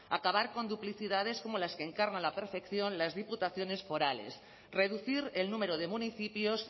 acabar con duplicidades como las que encarnan a la perfección las diputaciones forales reducir el número de municipios